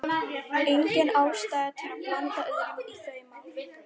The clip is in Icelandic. Engin ástæða til að blanda öðrum í þau mál.